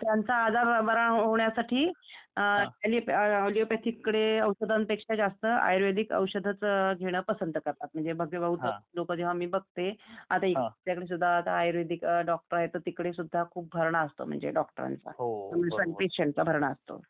त्याचाच आजार बरा होण्यासाठी अॅलीपथिककडे औषधांपेक्षा जास्त आयुर्वेदिक औषधंच घेणं पसंत करतात म्हणजे बहुधा लोक जेव्हा मी बघते आता इकडे तुझ्याकडे सुद्धा आयुर्वेदिक डॉक्टर आहेत. तर तिकडे सुद्धा खुप भरदा असतो म्हणजे डॉक्टरांचा, म्हणजे पेशंटचा भरडा असतो